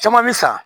Caman bɛ san